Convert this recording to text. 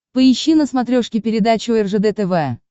поищи на смотрешке передачу ржд тв